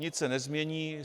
Nic se nezmění.